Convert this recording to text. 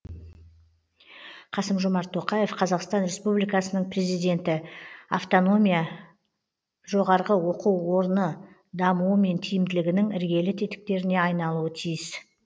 қасым жомарт тоқаев қазақстан республикасының президенті автономия жоғарғы оқу орны дамуы мен тиімділігінің іргелі тетіктеріне айналуы тиіс